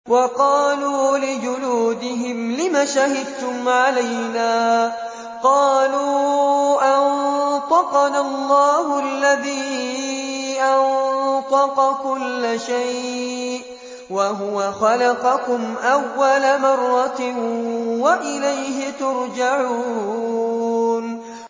وَقَالُوا لِجُلُودِهِمْ لِمَ شَهِدتُّمْ عَلَيْنَا ۖ قَالُوا أَنطَقَنَا اللَّهُ الَّذِي أَنطَقَ كُلَّ شَيْءٍ وَهُوَ خَلَقَكُمْ أَوَّلَ مَرَّةٍ وَإِلَيْهِ تُرْجَعُونَ